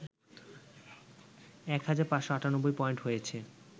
এক হাজার ৫৯৮ পয়েন্ট হয়েছে